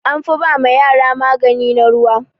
An fi ba ma yara magani na ruwa.